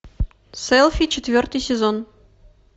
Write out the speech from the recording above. селфи четвертый сезон